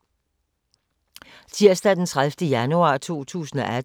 Tirsdag d. 30. januar 2018